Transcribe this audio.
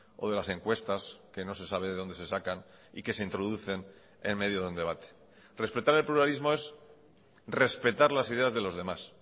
o de las encuestas que no se sabe de dónde se sacan y que se introducen en medio de un debate respetar el pluralismo es respetar las ideas de los demás